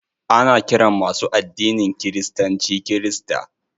Ana ƙiran masu addinin kiristanci kirista.